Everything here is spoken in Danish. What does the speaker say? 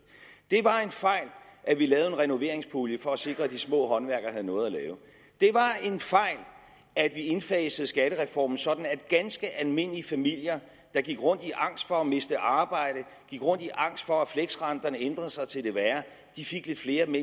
det var en fejl at vi lavede en renoveringspulje for at sikre at de små håndværkere havde noget at lave det var en fejl at vi indfasede skattereformen sådan at ganske almindelige familier der gik rundt i angst for at miste arbejdet og gik rundt i angst for at fleksrenterne ændrede sig til det værre fik lidt flere